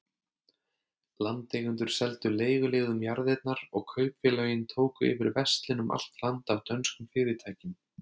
Landeigendur seldu leiguliðum jarðirnar, og kaupfélögin tóku yfir verslun um allt land af dönskum fyrirtækjum.